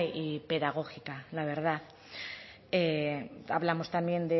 y pedagógica la verdad hablamos también